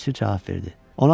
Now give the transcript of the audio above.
Bələdçi cavab verdi.